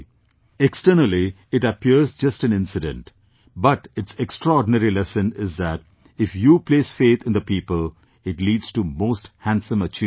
Externally, it appears just an incident But, its extraordinary lesson is that if you place faith in the people, it leads to most handsome achievements